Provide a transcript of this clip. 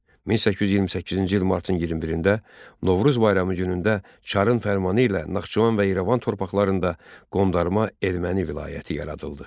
1828-ci il martın 21-də Novruz bayramı günündə Çarın fərmanı ilə Naxçıvan və İrəvan torpaqlarında Qondarma Erməni vilayəti yaradıldı.